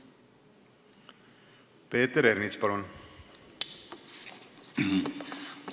Peeter Ernits, palun!